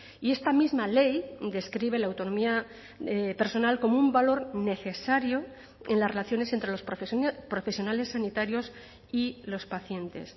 y esta misma ley describe la autonomía personal como un valor necesario en las relaciones entre los profesionales sanitarios y los pacientes